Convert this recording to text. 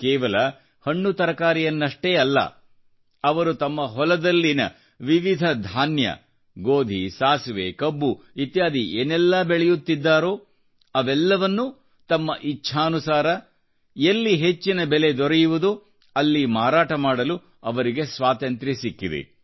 ಕೇವಲ ಹಣ್ಣುತರಕಾರಿಯನ್ನಷ್ಟೇ ಅಲ್ಲ ಅವರು ತಮ್ಮ ಹೊಲಗಳಲ್ಲಿ ವಿವಿಧ ಧಾನ್ಯ ಸಾಸಿವೆ ಗೋಧಿ ಕಬ್ಬು ಇತ್ಯಾದಿ ಏನೆಲ್ಲಾ ಬೆಳೆಯುತ್ತಿದ್ದಾರೋ ಅವೆಲ್ಲವನ್ನೂ ತಮ್ಮ ಇಚ್ಛಾನುಸಾರ ಎಲ್ಲಿ ಹೆಚ್ಚಿನ ಬೆಲೆ ದೊರಕುವುದೋ ಅಲ್ಲಿ ಮಾರಾಟ ಮಾಡಲು ಅವರಿಗೆ ಸ್ವಾತಂತ್ರ್ಯ ಸಿಕ್ಕಿದೆ